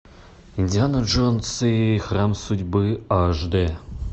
индиана джонс и храм судьбы аш дэ